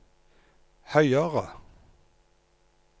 høyere